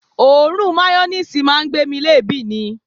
Òórùn mayoníìsì máa ń gbé mi léèébì ni